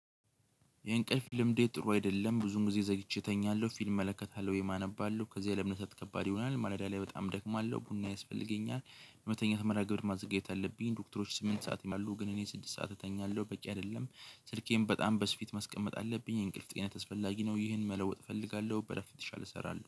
የእንቅልፍ ልምዴ ጥሩ አይደለም። ብዙን ጊዜ ዘግቼ እተኛለሁ ፊልም እመለከታለሁ ወይ አነባለው። ከዚህ ለመነሳት ከባድ ይሆናል ማለዳ ላይ በጣም ደክማለሁ። ቡና ያስፈልገኛል የመተኛት መርሃ ግብር ማዘጋጀት አለብኝ። ዶክተሮች ስምንት ሰዓት ይላሉ ግን እኔ ስድስት ሰዓት እተኛለሁ በቂ አይደለም። ስልኬን በጣም በስፊት ማስቀመጥ አለብኝ። እንቅልፍ ጤና አስፈላጊ ነው ይህን መለወጥ እፈልጋለሁ በለፍ የተሻለ እሰራለሁ።